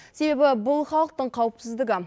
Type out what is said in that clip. себебі бұл халықтың қауіпсіздігі